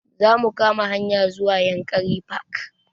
Za mu kama hanya zuwa yankari park